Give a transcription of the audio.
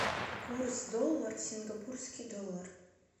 курс доллар сингапурский доллар